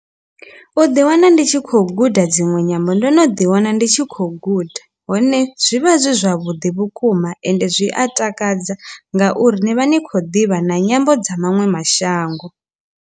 U ḓi wana ndi tshi khou guda dzinwe nyambo ndo no ḓi wana ndi tshi khou guda hone zwivha zwi zwavhuḓi vhukuma ende zwi a takadza ngauri ni vha ni khou ḓivha na nyambo dza maṅwe mashango.